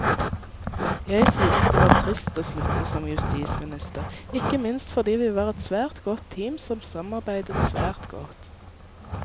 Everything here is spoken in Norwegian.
Jeg synes det var trist å slutte som justisminister, ikke minst fordi vi var et svært godt team som samarbeidet svært godt.